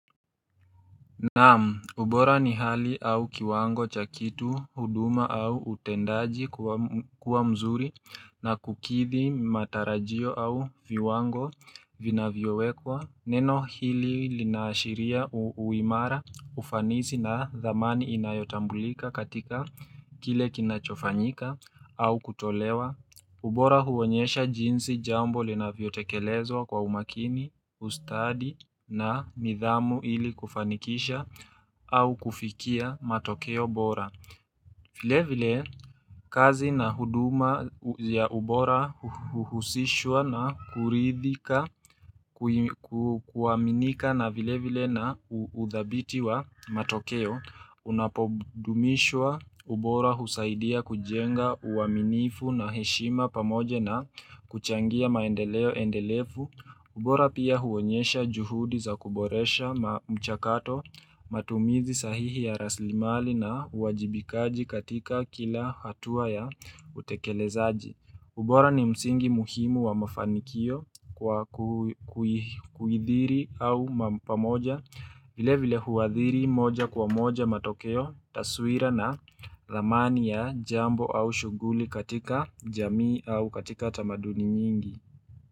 Naam, ubora ni hali au kiwango cha kitu, huduma au utendaji kuwa mzuri na kukidhi matarajio au viwango vinavyowekwa. Neno hili linaashiria uimara ufanisi na thamani inayotambulika katika kile kinachofanyika au kutolewa. Ubora huonyesha jinsi jambo linavyotekelezwa kwa umakini, ustadi na nidhamu ili kufanikisha au kufikia matokeo bora. Vile vile kazi na huduma ya ubora huhusishwa na kuridhika kuaminika na vile vile na udhabiti wa matokeo Unapodumishwa ubora husaidia kujenga uaminifu na heshima pamoja na kuchangia maendeleo endelefu ubora pia huonyesha juhudi za kuboresha mchakato matumizi sahihi ya raslimali na uwajibikaji katika kila hatuwa ya utekelezaji. Ubora ni msingi muhimu wa mafanikio kwa kuidhiri au pamoja vile vile huadhiri moja kwa moja matokeo taswira na ramani ya jambo au shuguli katika jamii au katika tamaduni nyingi.